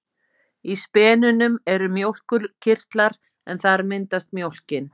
Í spenunum eru mjólkurkirtlar en þar myndast mjólkin.